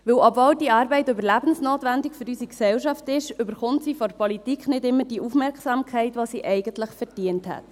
Denn obwohl diese Arbeit für unsere Gesellschaft überlebensnotwendig ist, erhält sie von der Politik nicht immer die Aufmerksamkeit, die sie eigentlich verdient hätte.